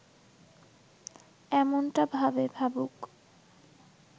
এমনটা ভাবে, ভাবুক